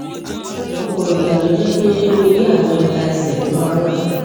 ọpọ ìgbà ló jẹ pé orí àwọn ìka ẹsẹ ló máa ń wà